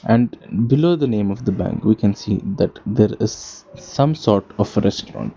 And below the name of the bank we can see that there is some sort of a restuarant.